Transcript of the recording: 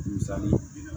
Musali